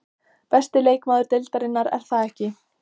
Besti leikmaður deildarinnar, er það ekki?